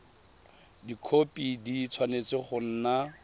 dikhopi di tshwanetse go nna